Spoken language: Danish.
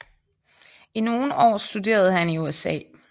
I nogle år studerede han i USA